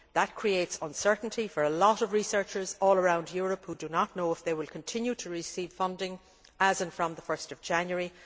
That creates uncertainty for a lot of researchers all around Europe who do not know if they will continue to receive funding from 1 January.